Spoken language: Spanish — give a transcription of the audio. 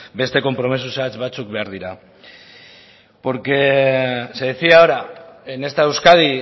beste konpromiso zehatz batzuk behar dira porque se decía ahora en esta euskadi